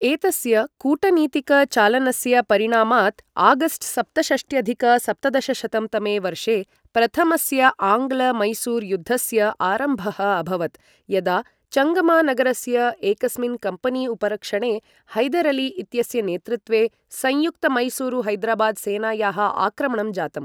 एतस्य कूटनीतिक चालनस्य परिणामात् आगस्ट् सप्तषष्ट्यधिक सप्तदशशतं तमे वर्षे प्रथमस्य आङ्ग्ल मैसूर युद्धस्य आरम्भः अभवत्, यदा चङ्गमा नगरस्य एकस्मिन् कम्पनी उपरक्षणे हैदर् अली इत्यस्य नेतृत्वे संयुक्त मैसूरु हैदराबाद् सेनायाः आक्रमणं जातम्।